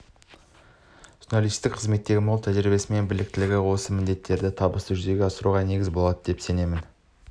журналистік қызметтегі мол тәжірибесі мен біліктілігі осы міндеттерді табысты жүзеге асыруға негіз болады деп сенемін